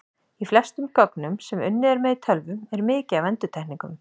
Í flestum gögnum sem unnið er með í tölvum er mikið af endurtekningum.